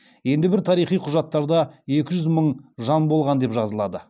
енді бір тарихи құжаттарда екі жүз мың жан болған деп жазылады